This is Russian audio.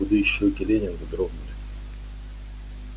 худые щёки лэннинга дрогнули